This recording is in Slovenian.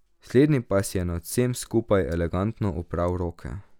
Slednji pa si je nad vsem skupaj elegantno opral roke.